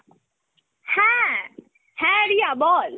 হ্যাঁ, হ্যাঁ রিয়া বল।